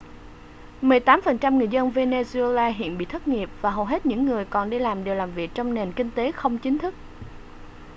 mười tám phần trăm người dân venezuela hiện bị thất nghiệp và hầu hết những người còn đi làm đều làm việc trong nền kinh tế không chính thức